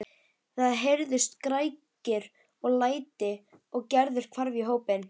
Það heyrðust skrækir og læti og Gerður hvarf í hópinn.